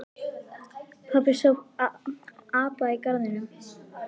Pabbi sá apa í garðinum.